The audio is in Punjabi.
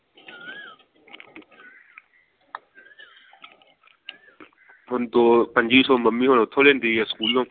ਹੁਣ ਦੋ ਪੰਝੀ ਸੌ ਮੰਮੀ ਹੁਣ ਉਥੋਂ ਲੈਂਦੀ ਐ ਸਕੂਲੋਂ